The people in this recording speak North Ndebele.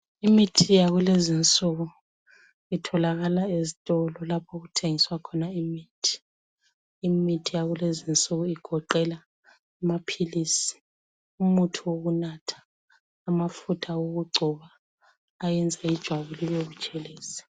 Imithi yakulezinsuku itholakala ezitolo lapho okuthengiswa khona imithi. Imithi yakulezinsuku igoqela amaphilisi, umuthi wokunatha amafutha wokugcoba ayenza ijwabu libe butshelezi.